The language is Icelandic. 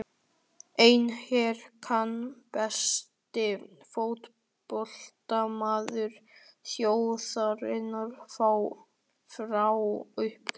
En er hann besti fótboltamaður þjóðarinnar frá upphafi?